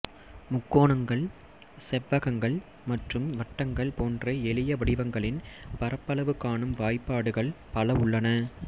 முக்கோணங்கள் செவ்வகங்கள் மற்றும் வட்டங்கள் போன்ற எளிய வடிவங்களின் பரப்பளவு காணும் வாய்ப்பாடுகள் பல உள்ளன